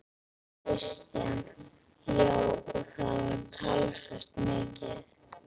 Kristján: Já, og það var talsvert mikið?